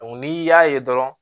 n'i y'a ye dɔrɔn